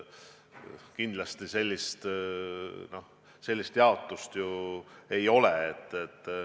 Kindlasti sellist jaotust ju ei ole.